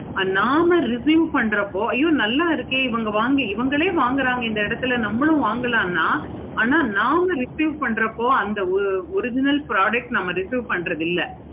நாம review பண்றப்போ நல்ல இருக்கு இவுங்க வாங்கி இவுங்களே வாங்குறாங்க இந்த இடத்துல நம்ம வாங்களான ஆனா நாம review பண்றப்போ அந்த original product நம்ம review பண்றது இல்லை.